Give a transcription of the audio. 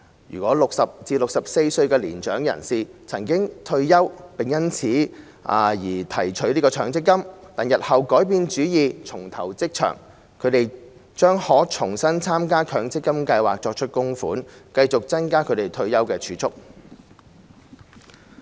如果60歲至64歲的年長人士曾退休並因此而提取強積金，但日後改變主意重投職場，他們將可重新參加強積金計劃作出供款，繼續增加其退休儲蓄。